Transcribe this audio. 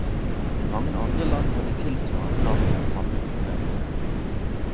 I mange andre land har de tilsvarende navn den samme utbredelse.